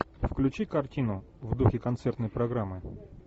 включи картину в духе концертной программы